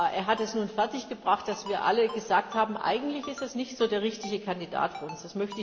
Er hat es nun fertiggebracht, dass wir alle gesagt haben Eigentlich ist es nicht so der richtige Kandidat für uns.